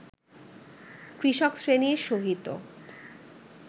কৃষকশ্রেণীর সহিত